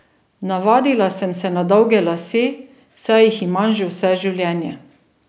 Navadila sem se na dolge lase, saj jih imam že vse življenje.